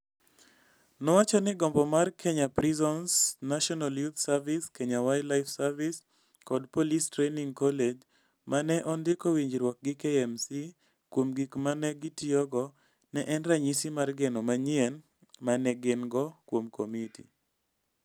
Nowacho ni gombo mar Kenya Prisons, National Youth Service, Kenya Wildlife Service, kod polis training college ma ne ondiko winjruok gi KMC kuom gik ma ne gitiyogo ne en ranyisi mar geno manyien ma ne gin - go kuom komiti.